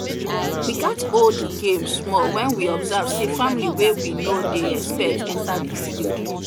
we gats hold the game small when we observe say family wey we no dey expect enter the field